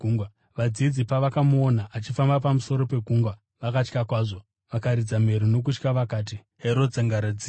Vadzidzi pavakamuona achifamba pamusoro pegungwa vakatya kwazvo. Vakaridza mhere nokutya vakati, “Hero dzangaradzimu!”